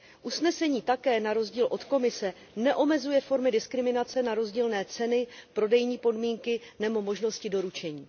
Usnesení také, na rozdíl od Komise, neomezuje formy diskriminace na rozdílné ceny, prodejní podmínky, nebo možnosti doručení.